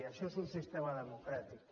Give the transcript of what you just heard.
això és un sistema democràtic